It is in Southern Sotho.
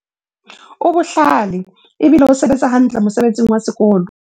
o bohlale ebile o sebetsa hantle mosebetsing wa sekolo